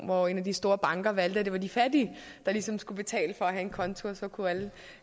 hvor en af de store banker valgte at det var de fattige der ligesom skulle betale for at have en konto og så kunne alle